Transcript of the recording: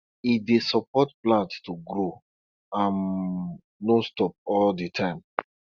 e dey support plant to grow um nonstop all di time